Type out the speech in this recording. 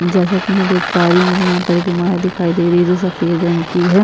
जैसा की मैं देख पा रही हूँ मुझे यहाँ पर एक इमारत दिखाई दे रही है जो सफेद रंग की है।